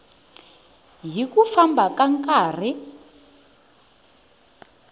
hi ku famba ka nkarhi